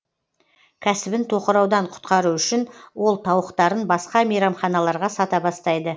кәсібін тоқыраудан құтқару үшін ол тауықтарын басқа мейрамханаларға сата бастайды